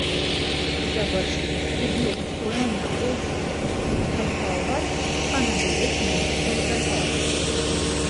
Završnik je bil obsojen na osem, Petovar pa na devet mesecev zapora.